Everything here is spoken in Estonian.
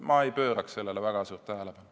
Ma ei pööraks sellele väga suurt tähelepanu.